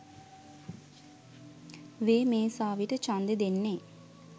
වේ මේසාවිට ඡන්දෙ දෙන්නෙ?